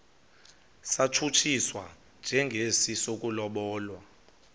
satshutshiswa njengesi sokulobola